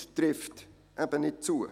trifft eben nicht zu.